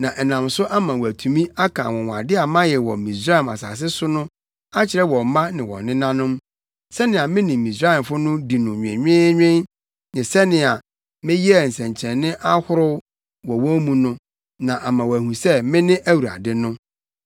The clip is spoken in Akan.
na ɛnam so ama woatumi aka anwonwade a mayɛ wɔ Misraim asase so no akyerɛ wo mma ne wo nenanom, sɛnea me ne Misraimfo no dii no nwenweenwen ne sɛnea meyɛɛ nsɛnkyerɛnne ahorow wɔ wɔn mu no, na ama woahu sɛ mene Awurade no.”